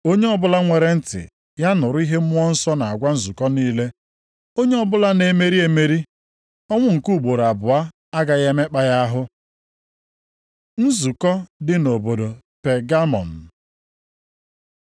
Onye ọbụla nwere ntị ya nụrụ ihe Mmụọ Nsọ na-agwa nzukọ niile. Onye ọbụla na-emeri emeri, ọnwụ nke ugboro abụọ agaghị emekpa ya ahụ. Nzukọ dị nʼobodo Pegamọm